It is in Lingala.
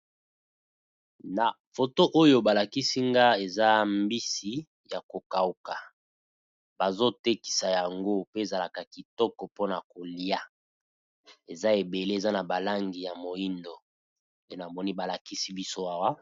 Na foto oyo ba lakisi nga eza mbisi ya ko kauka, bazo tekisa yango pe ezalaka kitoko mpona kolia eza ebele eza na ba langi ya moyindo pe namoni ba lakisi biso Awa.